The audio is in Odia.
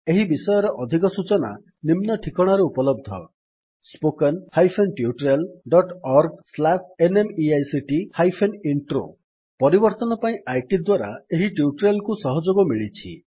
ଏହି ବିଷୟରେ ଅଧିକ ସୂଚନା ନିମ୍ନ ଠିକଣାରେ ଉପଲବ୍ଧ spoken hyphen tutorial dot org slash NMEICT hyphen intro ପରିବର୍ତ୍ତନ ପାଇଁ ଆଇଟି ଦ୍ୱାରା ଏହି ଟ୍ୟୁଟୋରିଆଲ୍ କୁ ସହଯୋଗ ମିଳିଛି